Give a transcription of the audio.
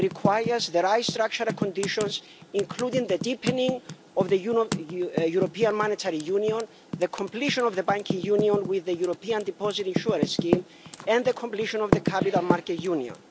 It requires the right structural conditions, including the deepening of the European Monetary Union, the completion of the Banking Union with the European Deposit Insurance Scheme and the completion of the Capital Market Union.